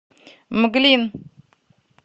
мглин